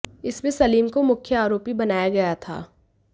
इसमें सलीम को मुख्य आरोपी बनाया गया था